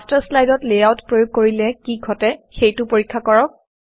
master শ্লাইডত layout প্ৰয়োগ কৰিলে কি ঘটে সেইটো পৰীক্ষা কৰক